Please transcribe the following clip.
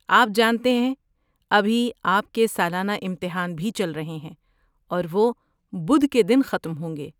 آپ جانتے ہیں ابھی آپ کے سالانہ امتحان بھی چل رہے ہیں اور وہ بدھ کے دن ختم ہوں گے۔